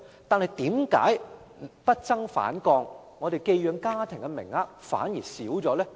但是，為何數字不增反降，寄養家庭的名額反而減少呢？